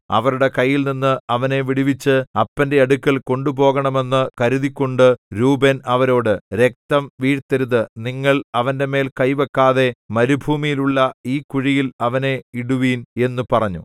അവരുടെ കൈയിൽനിന്ന് അവനെ വിടുവിച്ച് അപ്പന്റെ അടുക്കൽ കൊണ്ടുപോകേണമെന്ന് കരുതിക്കൊണ്ടു രൂബേൻ അവരോട് രക്തം വീഴ്ത്തരുത് നിങ്ങൾ അവന്റെമേൽ കൈ വെക്കാതെ മരുഭൂമിയിലുള്ള ഈ കുഴിയിൽ അവനെ ഇടുവിൻ എന്നു പറഞ്ഞു